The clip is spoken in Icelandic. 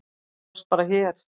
Þú varst bara hér.